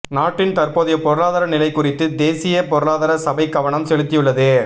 நாட்டின் தற்போதைய பொருளாதார நிலை குறித்து தேசிய பொருளாதார சபை கவனம் செலுத்தியுள்ளது